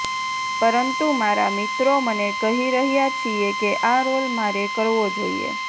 પરંતુ મારા મિત્રો મને કહી રહ્યા છીએ કે આ રોલ મારે કરવો જોઇએ